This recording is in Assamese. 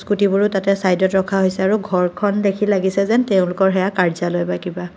স্কোটীবোৰো তাতে চাইডত ৰখা হৈছে আৰু ঘৰখন দেখি লাগিছে যেন তেওঁলোকৰ সেয়া কাৰ্য্যলয় বা কিবা।